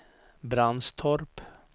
Brandstorp